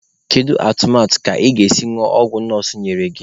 Kedu atụmatụ ka ị ga-esi ñụọ ọgwụ nọọsụ nyere gị?